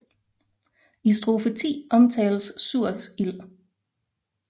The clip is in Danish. I strofe 10 omtales Surts ild